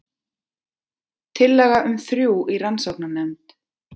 Tillaga um þrjú í rannsóknarnefnd